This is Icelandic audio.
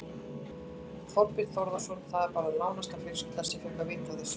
Þorbjörn Þórðarson: Það var bara nánasta fjölskylda sem fékk að vita af þessu?